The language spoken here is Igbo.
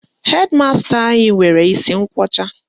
Hedi masta anyị nwere isi nkwọcha